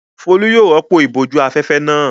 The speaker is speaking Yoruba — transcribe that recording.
Folú yóò rọ́pò ìbòjú-afẹ́fẹ́ náà.